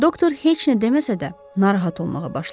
Doktor heç nə deməsə də narahat olmağa başladı.